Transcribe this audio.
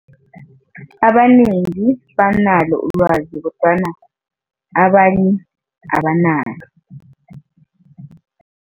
Abanengi banalo ulwazi kodwana abanye abanalo.